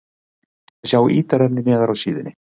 Sjá ítarefni neðar á síðunni